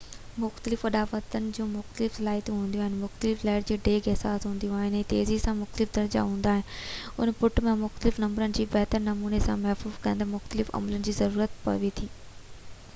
مختلف اڏاوتن جون مختلف صلاحيتون هونديون آهن مختلف لهر جي ڊيگهہ حساس هونديو آهن ۽ تيزي جا مختلف درجا هوندا آهن ان پٽ ۽ مختلف نمبرن جو بهتر نموني سان مفهوم ڪڍڻ لاءِ مختلف عملن جي ضرورت پوي ٿي